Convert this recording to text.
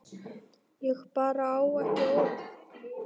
Ég bara á ekki orð.